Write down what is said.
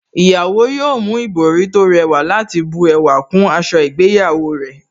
Ìyàwó yóò mú ìbòrí tó rẹwà láti bu ẹwà kún aṣọ ìgbéyàwó rẹ̀